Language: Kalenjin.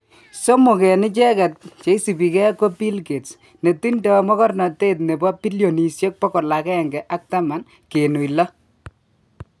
somok en icheget cheisibige ko Bill Gates ne tindo mogornotet nebo bilionishek 110.6